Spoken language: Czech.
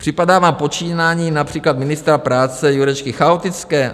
Připadá vám počínání například ministra práce Jurečky chaotické?